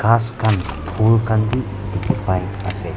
ghas khan phul khan wi dikhi pai ase.